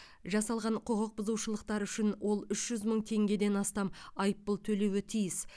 жасалған құқық бұзушылықтар үшін ол үш жүз мың теңгеден астам айыппұл төлеуі тиіс